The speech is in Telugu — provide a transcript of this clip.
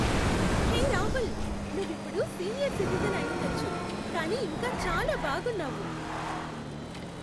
హె రాహుల్, నువ్వు ఇప్పుడు సీనియర్ సిటిజెన్ అయ్యుండొచ్చు కానీ ఇంకా చాలా బాగున్నావు.